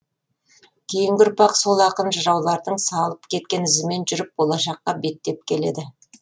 кейінгі ұрпақ сол ақын жыраулардың салып кеткен ізімен жүріп болашаққа беттеп келеді